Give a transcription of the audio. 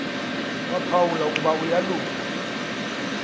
waphawula ukuba uyalunga